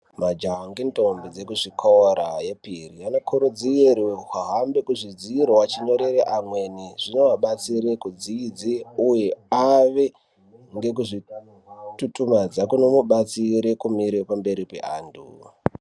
Majaha ngendombi dzekuzvikora yep iri, anokurudzirwe kuhambe kuzvidziro achinyorere amweni. Zvinoabatsire kudzidze, uye ave ngekuzvitutumadza kunovabatsire kumire pamberi peantu